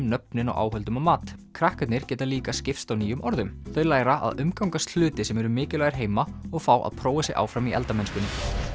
nöfnin á áhöldum og mat krakkarnir geta líka skipst á nýjum orðum þau læra að umgangast hluti sem eru mikilvægir heima og fá að prófa sig áfram í eldamennskunni